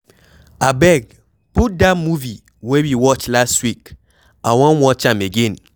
Abeg put dat movie wey we watch last week, I wan watch am again.